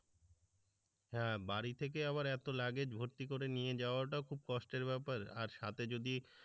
হ্যাঁ বাড়ি থেকে আবার এত luggage ভর্তি করে নিয়ে যাওয়াটাও খুব কষ্টের ব্যাপার আর সাথে যদি